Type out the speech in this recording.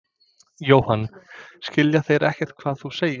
Jóhann: Skilja þeir ekkert hvað þú segir?